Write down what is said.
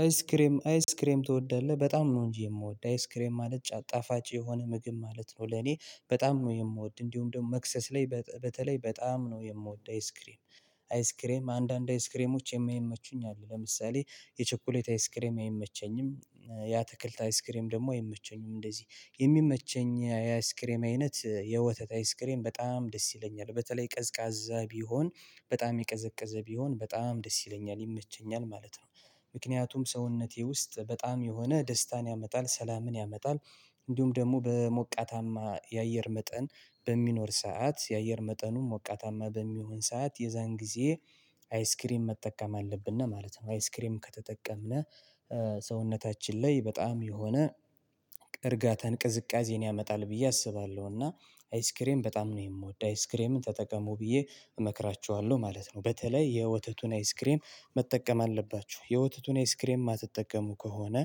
አይስክሬም አይስክሬም ትወዳለህ በጣም ነው እንጂ የምወደው አይስክሬም ማለት ጣፋጭ የሆነ ምግብ ማለት ነው። ለእኔ በጣም ነው የምወደው እንዲሁም ደግሞ መክሰስ ላይ በተለይ በጣም ነው የምወደው አይስክሬም። አይስክሬም አንዳንድ አይስክሬሞች የማይመቹኝ አሉ ለምሳሌ የቸኮሌት አይስክሬም አይመቸኝም። የ አትክልት አይስክሬም ደግሞ አይመቸኝም እንደዚህ የሚመቸኝ የአይስክሬም አይነት የወተት አይስክሬም በጣም ደስ ይለኛል በተለይ ቀዝቃዛ ቢሆን በጣም የቀዘቀዘ ቢሆን በጣም ደስ ይለኛል ይመቸኛል ማለት ነው። ምክንያቱም ሰውነቴ ውስጥ በጣም የሆነ ደስታን ያመጣል ሰላምን ያመጣል። እንዲሁም ደግሞ በሞቃታማ የአየር መጠን በሚኖር ሰዓት የአየር መጠኑ ሞቃታማ በሚሆን ሰዓት የዛን ጊዜ አይስክሬም መጠቀም አለብን ለማለት ነው። አይስክሬም ከተጠቀምን ሰውነታችን ላይ በጣም የሆነ እርጋታን ቅዝቃዜን ያመጣል ብዬ አስባለሁ። እና አይስክሬም በጣም ነው የምወደው አይስክሬምን ተጠቀሙ ብዬ እመክራችኋለሁ ማለት ነው። በተለይ የወተቱን አይስክሬም መጠቀም አለባችሁ የወተቱን አይስክሬም የማትጠቀሙ ከሆነ